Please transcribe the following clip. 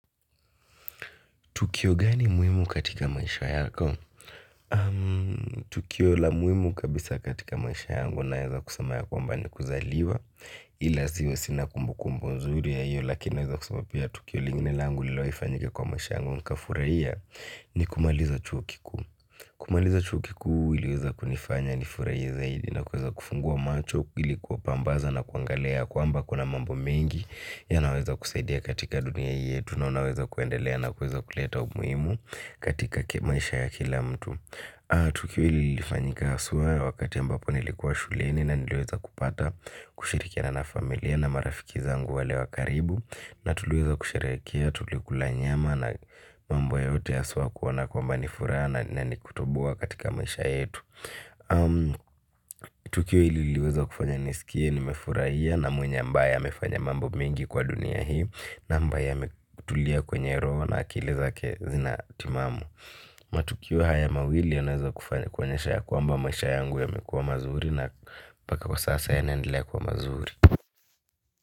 Tukio gani muimu katika maisha yako? Tukio la muhimu kabisa katika maisha yangu naweza kusema yakwamba ni kuzaliwa. Ila sio sina kumbu kumbu nzuri ya hio, lakini naweza kusema pia tukio lingine langu lililofanyika kwa maisha yangu nikafurahia ni kumaliza chuo kikuu. Kumaliza chuo kikuu iliweza kunifanya nifurahie zaidi na kuweza kufungua macho ili kuwapambaza na kuangalia kwamba kuna mambo mengi naweza kusaidia katika dunia yetu na naweza kuendelea na kuweza kuleta umuhimu katika maisha ya kila mtu tukio hili lilifanyika haswa wakati ambapo nilikuwa shuleni, na niliweza kupata kushirikiana na familia na marafiki zangu wale wa karibu na tuliweza kusherehekea tulikula nyama na mambo yote haswa kuona kwamba nilifurahi na ni kutoboa katika maisha yetu tukio hili liliweza kufanya nisikie nimefurahia na mwenye ambaye nimefanya mambo mengi kwa dunia na ambaye nimetulia kwenye roho na akili zake ni timamu. Matukio haya mawili yanaweza kufanya kuonyesha kwamba masha yangu yamekuwa mazuri na paka kwa sasa yanaendelea kuwa mazuri.